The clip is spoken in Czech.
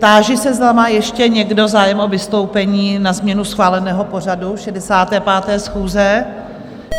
Táži se, zda má ještě někdo zájem o vystoupení na změnu schváleného pořadu 65. schůze?